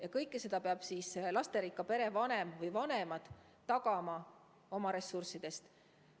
Ja kõike seda peavad lasterikka pere vanemad tagama oma ressurssidest.